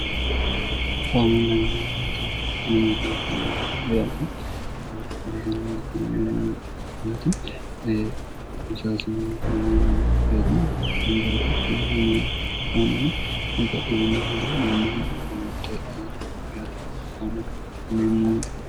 koaminlanyamita ainunganingam wiyati felizinme kuemati musaasiningaamomon gare yainbarifu kanaanmyooti mfaamanu ubba'inyinni mori ammohueca'i wiyri kn kaminneemmoonti